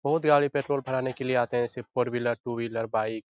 बहुत गाड़ी पेट्रोल भराने के लिए आते है जैसे की four wheeler two wheeler bike --